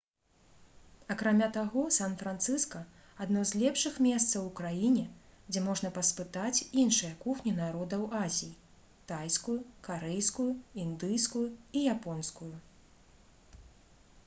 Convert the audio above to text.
акрамя таго сан-францыска адно з лепшых месцаў у краіне дзе можна паспытаць іншыя кухні народаў азіі тайскую карэйскую індыйскую і японскую